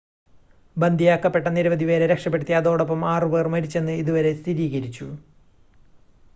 ബന്ദിയാക്കപ്പെട്ട നിരവധി പേരെ രക്ഷപ്പെടുത്തി അതോടൊപ്പം ആറ് പേർ മരിച്ചെന്ന് ഇതുവരെ സ്ഥിരീകരിച്ചു